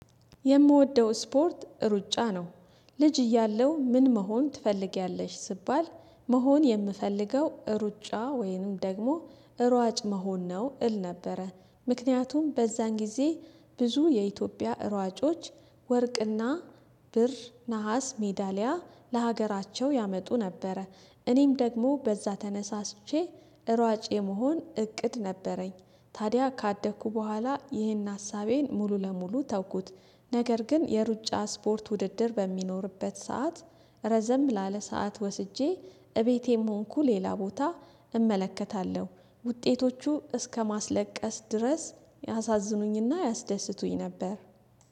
የምወደው ስፖርት ሩጫ ነው። ልጅ እያለው ምን መሆን ትፈልጊያለሽ ሲባል መሆን የምፈልገው ሩጫ ወይንም ደግሞ ሯጭ መሆን ነው። እል ነበረ። ምክንያቱም በዛን ጊዜ ብዙ የኢትዮጵያ ሯጮች ወርቅና ብር ነሃስ ሜዳሊያ ለሀገራቸው ያመጡ ነበረ። እኔም ደግሞ በዛ ተነሳስቼ ሯጭ የመሆን እቅድ ነበረኝ። ታዲያ ካደኩ በኋላ ይህን ሀሳቤን ሙሉ ለሙሉ ተውኩት። ነገር ግን የሩጫ ስፖርት ውድድር በሚኖርበት ሰዓት ረዘም ላለ ሰዓት ወስጄ እቤቴም ሆንኩ ሌላ ቦታ እመለከታለሁ ውጤቶቹ እስከማስለቀስ ድረስ ያሳዝኑኝና ያስደስቱኝ ነበር